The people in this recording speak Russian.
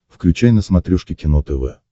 включай на смотрешке кино тв